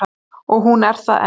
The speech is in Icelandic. Og hún er það enn.